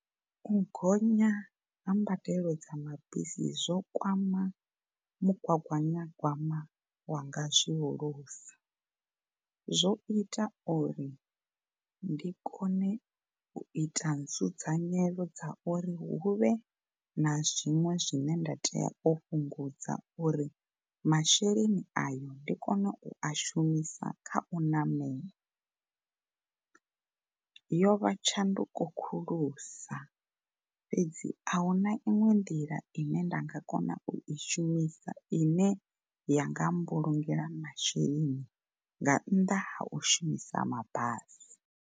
U gonya ha mbadelo dza mabisi zwo kwama mugaganyagwama wanga zwihulusa zwo ita uri ndi kone u ita nzudzanyelo dza uri huvhe na zwiṅwe zwine nda tea u fhungudza uri masheleni ayo ndi kone u a shumisa kha u ṋamela. Yo vha tshanduko khulusa fhedzi ahuna iṅwe nḓila ine nda nga kona u i shumisa ine yanga mbulungela masheleni nga nnda ha u shumisa mabasi.